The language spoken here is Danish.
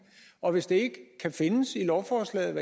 og hvis det kan findes i lovforslaget